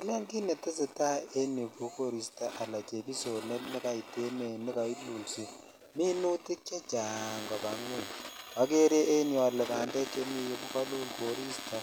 Elen kit netesetai en yuu ko koristoala chebisonet nekait en yuu ne kairusi minutik chechang koba ngweng ogere en yu ole bandek chemi yuu ko kolul koristo